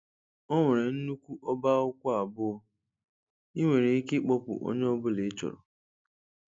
Ọ nwere nnukwu ọba akwụkwọ abụọ, ị nwere ike ịkpọpụ nke ọ bụla ịchọrọ.